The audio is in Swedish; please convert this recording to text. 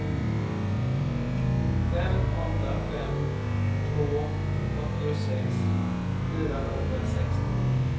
fem åtta fem två åttiosex fyrahundrasextio